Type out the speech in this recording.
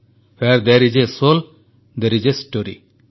where there is a soul there is a story